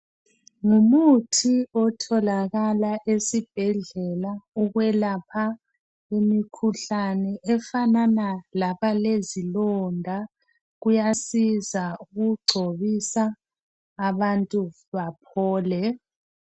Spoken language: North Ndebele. Ngumuthi otholakala esibhedlela ukwelapha imikhuhlane efanana labalezilonda. Uyasiza ukugcobisa abantu baphole.